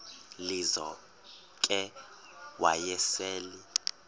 lizo ke wayesel